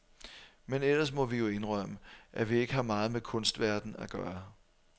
Men ellers må vi jo indrømme, at vi ikke har meget med kunstverdenen at gøre.